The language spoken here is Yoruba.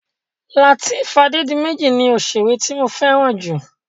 Lateef Adédiméjì ni òṣèré tí mo fẹ́ràn jù.